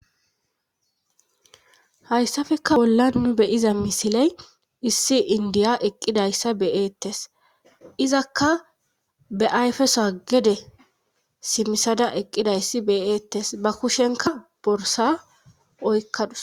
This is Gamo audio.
Hayssafeka bollan nu beyiza misiley issi indiya eqqidayssa beyeettes izakka be ayfesoa gede simisada eqqidayssi beyeettes ba kushenka borsa oykkadus.